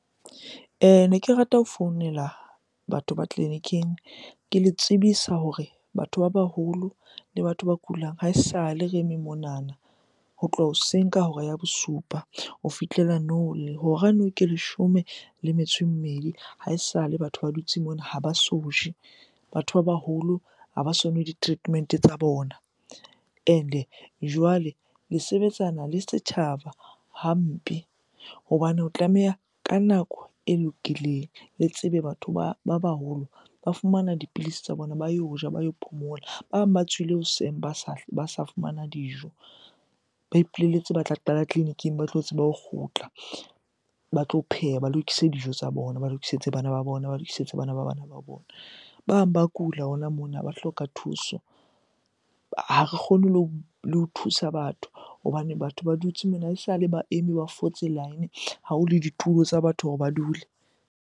Ne ke rata ho founela batho ba tleliniking, ke le tsebisa hore batho ba baholo le batho ba kulang ha esale re eme monana ho tloha hoseng ka hora ya bosupa ho fihlela nou Hora nou ke leshome le metso e mmedi, ha esale batho ba dutse mona ha ba so je. Batho ba baholo ha ba so nwe di-treatment-e tsa bona and-e jwale le sebetsana le setjhaba hampe. Hobane ho tlameha ka nako e lokileng, le tsebe batho ba baholo ba fumana dipilisi tsa bona ba yo ja, ba yo phomola. Ba bang ba tswile hoseng ba sa fumana dijo, ba ipolelletse ba tla qala tleliniking ba tlo tsebe ho kgutla, ba tlo pheha, ba lokise dijo tsa bona, ba lokisetse bana ba bona, ba lokisetse bana ba bana ba bona. Ba bang ba kula hona mona ba hloka thuso. Ha re kgone le ho thusa batho hobane batho ba dutse mona ha esale ba eme ba fotse line. Ha ho le ditulo tsa batho hore ba dule.